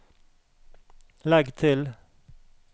legg til